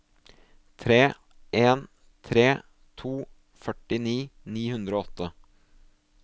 tre en tre to førtini ni hundre og åtte